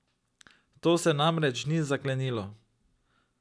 To se namreč ni zaklenilo.